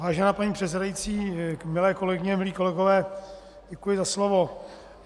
Vážená paní předsedající, milé kolegyně, milí kolegové, děkuji za slovo.